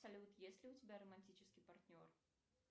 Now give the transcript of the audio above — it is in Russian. салют есть ли у тебя романтический партнер